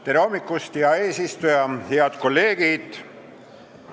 Tere hommikust, hea eesistuja ja head kolleegid!